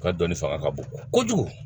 U ka dɔnni fanga ka bon kojugu